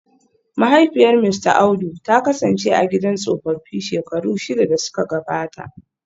Mahaifiyar Mista Audu ta kasance a gidan tsofaffi shekaru shida da suka gabata